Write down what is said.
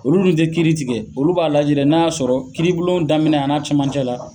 Olu min te kiiri tigɛ, olu b'a lajɛ n'a y'a sɔrɔ kiiribulon daminɛ a n'a cɛmancɛ la